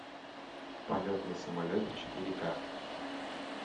полет на самолете четыре ка